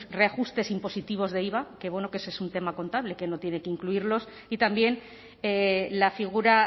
reajustes impositivos de iva que bueno que ese es un tema contable que no tiene que incluirlos y también la figura